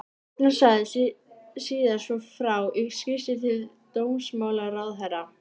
Agnar sagði síðar svo frá í skýrslu til dómsmálaráðherra